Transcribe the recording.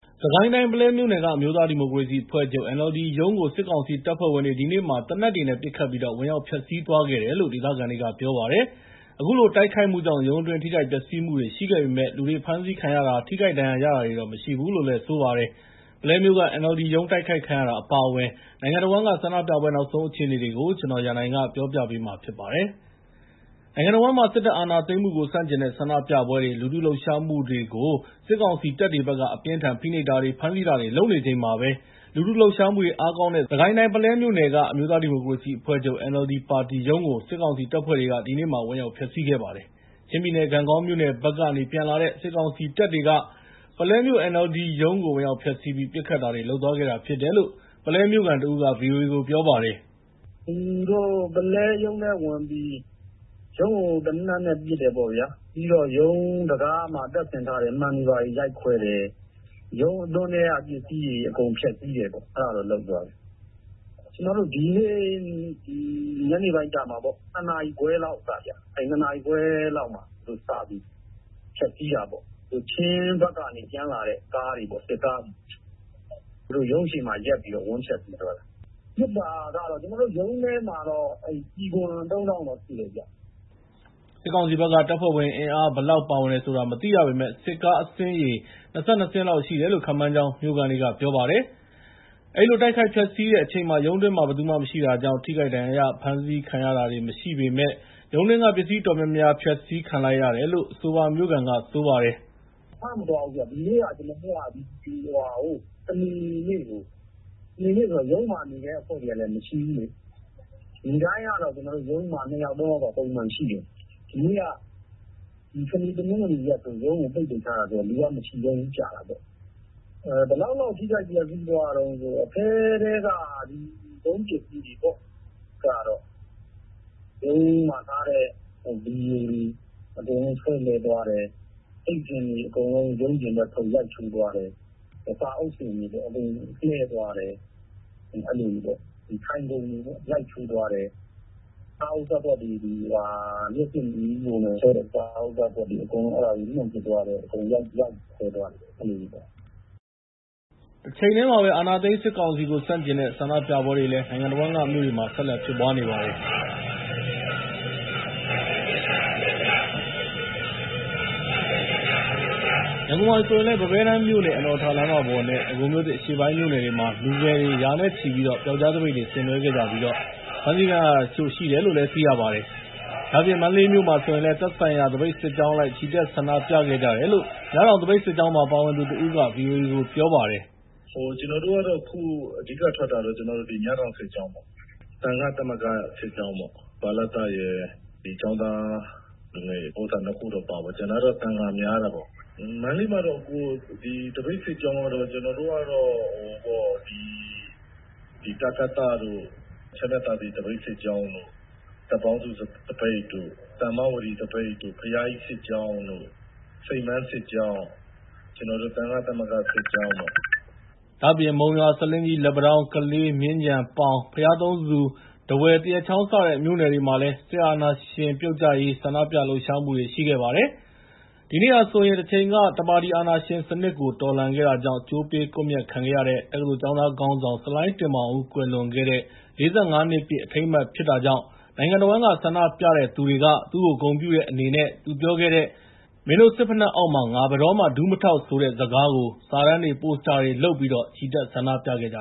စစ်ကိုင်းတိုင်း ပုလဲမြို့နယ်က အမျိုးသားဒီမိုကရေစီအဖွဲ့ချုပ် (NLD) ရုံးကို စစ်ကောင်စီတပ်ဖွဲ့ဝင်တွေ ဒီနေ့မှာ သေနတ်တွေနဲ့ ပစ်ခတ်ပြီး ဝင်ရောက် ဖျက်ဆီးသွားခဲ့တယ်လို့ ဒေသခံတွေက ပြောပါတယ်။ အခုလို တိုက်ခိုက်မှုကြောင့် ရုံးအတွင်း ထိခိုက်ပျက်စီးမှုတွေ ရှိခဲ့ပေမယ့် လူတွေ ဖမ်းဆီးခံရတာ၊ ထိခိုက်ဒဏ်ရာ ရတာတွေတော့ မရှိဘူးလို့ ပြောပါတယ်။ ပုလဲမြို့က NLD ရုံး တိုက်ခိုက်ခံရတာ အပါအဝင် နိုင်ငံတဝန်းက ဆန္ဒပြပွဲ နောက်ဆုံးအခြေအနေတွေကို ကိုရန်နိုင် တင်ပြပေးထားပါတယ်။ နိုင်ငံတဝန်းမှာ စစ်တပ်အာဏာသိမ်းမှုကို ဆန့်ကျင်တဲ့ ဆန္ဒပြပွဲတွေ၊ လူထုလှုပ်ရှားမှုတွေကို စစ်ကောင်စီတပ်တွေဘက်က အပြင်းအထန် ဖိနှိပ်တာတွေ ဖမ်းဆီးတာတွေ လုပ်နေချိန်မှာပဲ လူထုလှုပ်ရှားမှုတွေ အားကောင်းတဲ့ စစ်ကိုင်းတိုင်းက ပုလဲမြို့နယ် အမျိုးသားဒီမိုကရေစီအဖွဲ့ချုပ် (NLD) ပါတီရုံးကို စစ်ကောင်စီတပ်ဖွဲ့တွေက ဒီနေ့မှာ ဝင်ရောက်ဖျက်ဆီးခဲ့ပါတယ်။ ချင်းပြည်နယ် ဂန့်ဂေါမြို့နယ်ဘက်ကနေ ပြန်လာတဲ့ စစ်ကောင်စီတပ်တွေက ပုလဲမြို့ NLD ပါတီရုံးကို ဝင်ရောက်ဖျက်ဆီးပြီး ပစ်ခတ်တာတွေ လုပ်သွားခဲ့တာဖြစ်တယ်လို့ ပုလဲမြို့ခံတဦးက ဗွီအိုအေကို ပြောပါတယ်။ “သူတို့ ပုလဲရုံးထဲကို ဝင်ပြီး ရုံးကို သေနတ်နဲ့ ပစ်တယ်ပေါ့ဗျာ။ ပြီးတော့ ရုံးတံခါးမှာ တပ်ဆင်ထားတဲ့ မှန်တွေကို ရိုက်ခွဲတယ်။ ရုံးအတွင်းထဲက ပစ္စည်းတွေ အကုန်ဖျက်ဆီးတယ်၊ အဲဒါတွေလုပ်သွားတယ်။ ဒီနေ့ ညနေပိုင်း ၂ နာရီခွဲလောက်က စပြီး ဖျက်ဆီးတာပေါ့။ ချင်းပြည်နယ်ဘက်က ပြန်လာတဲ့ စစ်ကားတွေ သူတို့ ရုံးအရှေ့မှာ ရပ်ပြီးတော့ ဝင်ဖျက်ဆီးသွားတာ။ ပစ်တာကတော့ ရုံးထဲမှာ ကျည်အခွံ ၃ တောင့်တော့ရှိတယ်။” စစ်ကောင်စီဘက်က တပ်ဖွဲ့ဝင်အင်အား ဘယ်လောက်ပါဝင်တယ်ဆိုတာ မသိရပေမယ့် စစ်ကားအစီးရေ ၂၂ စီးလောက်ရှိတယ်လို့ ခန့်မှန်းကြောင်း မြို့ခံတွေက ပြောပါတယ်။ အဲဒီလို တိုက်ခိုက်ဖျက်ဆီးခဲ့တဲ့အချိန်မှာ ရုံးအတွင်းမှာ ဘယ်သူမှမရှိတာကြောင့် ထိခိုက်ဒဏ်ရာရတာ၊ ဖမ်းဆီးခံရတာတွေ မရှိပေမယ့် ရုံးတွင်းက ပစ္စည်းတွေ အတော်များများ ဖျက်ဆီးခံလိုက်ရတယ်လို့ အဆိုပါမြို့ခံက ပြောပါတယ်။ “ဖမ်းမသွားဘူးဗျ။ ဒီနေ့က စနေနေ့ဆိုတော့ ရုံးမှာနေတဲ့ အဖွဲ့တွေကလည်း မရှိဘူးလေ။ နေ့တိုင်းကတော့ ရုံးမှာ ၂ ယောက် ၃ ယောက် ပုံမှန်ရှိတယ်။ စနေ၊ တနင်္ဂနွေကတော့ ရုံးကို ပိတ်ထားတာဆိုတော့ လူက မရှိကြတာပေါ့။ ဘယ်လောက်လောက် ထိခိုက်ပျက်စီးသွားသလဲဆိုတော့ ရုံးမှာထားတဲ့ ဘီဒိုတွေအကုန်လုံး တွန်းလှဲသွားတယ်။ အိပ်စင်တွေအကုန်လုံး ရုံးအပြင်ဘက်ထုတ် ရိုက်ချိုးသွားတယ်။ စာအုပ်စင်တွေ လှဲသွားတယ်၊ ထိုင်ခုံတွေ ရိုက်ချိုးသွားတယ်။ လျှပ်စစ်ပစ္စည်းတွေ မီးဖိုတွေကိုလည်း လွှင့်ပစ်သွားတယ်၊ ရိုက်ခွဲသွားတယ်။” တချိန်တည်းမှာပဲ အာဏာသိမ်းစစ်ကောင်စီကို ဆန့်ကျင်တဲ့ ဆန္ဒပြပွဲတွေလည်း နိုင်ငံတဝန်းက မြို့တွေမှာ ဆက်လက်ဖြစ်ပွားနေပါတယ်။ ရန်ကုန်မှာဆိုရင်လည်း ပန်းဘဲတန်းမြို့နယ် အနော်ရထာလမ်းမပေါ်နဲ့ ဒဂုံမြို့သစ် အရှေ့ပိုင်းမြို့နယ်တွေမှာ လူငယ်တွေ ရာနဲ့ချီပြီး ပြောက်ကျားသပိတ်တွေ ဆင်နွှဲခဲ့ကြပြီး ဖမ်းဆီးခံရတာတချို့ ရှိတယ်လို့လည်း သိရပါတယ်။ ဒါ့အပြင် မန္တလေးမြို့မှာဆိုရင်လည်း သက်ဆိုင်ရာ သပိတ်စစ်ကြောင်းအလိုက် ချီတက်ဆန္ဒပြခဲ့ကြတယ်လို့ မြတောင်သပိတ်စစ်ကြောင်းမှာ ပါဝင်သူတဦးက ဗွီအိုအေကို ပြောပါတယ်။ “ကျနော်တို့က အဓိကထွက်တာက မြတောင်စစ်ကြောင်းပေါ့၊ မြတောင်စစ်ကြောင်းရယ် သံဃသမဂ္ဂ စစ်ကြောင်းပေါ့။ ဗလတရယ်၊ ကျောင်းသားလူငယ်ရယ် ၂ ခုတော့ ပါတာပေါ့။ ကျန်တာကတော့ သံဃာများတာပေါ့။ မန္တလေးမှာတော့ သပိတ်စစ်ကြောင်းကတော့ ကျနော်တို့က တကသတို့၊ ချမ်းမြသာစည် သပိတ်စစ်ကြောင်းတို့၊ တပ်ပေါင်းစုသပိတ်၊ တမ္ပဝတီသပိတ်၊ ဘုရားကြီးစစ်ကြောင်းတို့၊ စိန်ပန်းစစ်ကြောင်းနဲ့ ကျနော်တို့ သံဃသမဂ္ဂ စစ်ကြောင်းတို့ပေါ့။” ဒါ့အပြင် မုံရွာ၊ ဆားလင်းကြီး၊ လက်ပံတောင်း၊ ကလေး၊ မြင်းခြံ၊ ပေါင်၊ ဘုရားသုံးဆူ၊ ထားဝယ်၊ သရက်ချောင်း စတဲ့မြို့နယ်တွေမှာလည်း စစ်အာဏာရှင်ပြုတ်ကျရေး ဆန္ဒပြလှုပ်ရှားမှုတွေ ရှိခဲ့ပါတယ်။ ဒီနေ့မှာဆိုရင် တချိန်က တပါတီအာဏာရှင်စနစ်ကို တော်လှန်ခဲ့တာကြောင့် ကြိုးပေးကွပ်မျက်ခံခဲ့ရတဲ့ တက္ကသိုလ်ကျောင်းသားခေါင်းဆောင် ဆလိုင်းတင်မောင်ဦး ကွယ်လွန်တဲ့ ၄၅ နှစ်ပြည့် အထိမ်းအမှတ် ဖြစ်တာကြောင့် နိုင်ငံတဝန်း ဆန္ဒပြတဲ့သူတွေက သူ့ကို ဂုဏ်ပြုတဲ့အနေနဲ့ သူ့ကို ကြိုးမပေးခင် နောက်ဆုံး သူပြောခဲ့တဲ့ “မင်းတို့စစ်ဖိနပ်အောက်မှာ ငါ ဘယ်တော့မှ ဒူးမထောက်ဆိုတဲ့” စကားကို စာတန်းတွေ၊ ပိုစတာတွေလုပ်ပြီး ချီတက် ဆန္ဒပြခဲ့ကြ